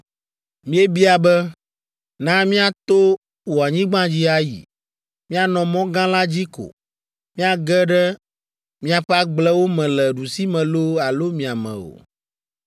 Míebia be, ‘Na míato wò anyigba dzi ayi. Míanɔ mɔ gã la dzi ko; míage ɖe miaƒe agblewo me le ɖusime loo alo miame o.